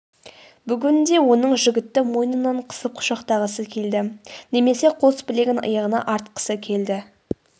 бүгін де оның жігітті мойнынан қысып құшақтағысы келді немесе қос білегін иығына артқысы келді